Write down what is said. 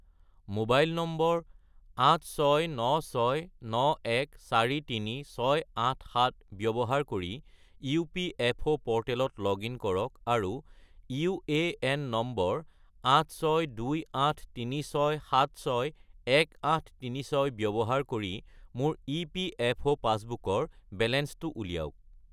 mobile number 86969143687 ব্যৱহাৰ কৰি EPFO প'ৰ্টেলত লগ-ইন কৰক আৰু ইউএএন নম্বৰ 862836761836 ব্যৱহাৰ কৰি মোৰ ইপিএফঅ’ পাছবুকৰ বেলেঞ্চটো উলিয়াওক